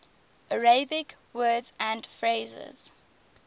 arabic words and phrases